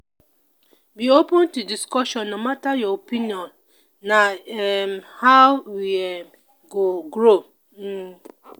be open to discussions no matter your opinion; na um how we um go grow. um